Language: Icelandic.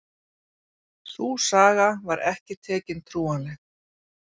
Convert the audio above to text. Sú saga var ekki tekin trúanleg